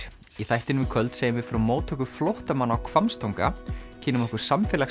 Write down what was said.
í þættinum í kvöld segjum við frá móttöku flóttamanna á Hvammstanga kynnum okkur